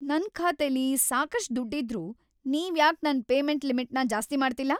ನನ್ ಖಾತೆಲಿ ಸಾಕಷ್ಟ್ ದುಡ್ಡಿದ್ರೂ ನೀವ್ಯಾಕ್ ನನ್ ಪೇಮೆಂಟ್‌ ಲಿಮಿಟ್‌ನ ಜಾಸ್ತಿ ಮಾಡ್ತಿಲ್ಲ?